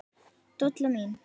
Dolla mín.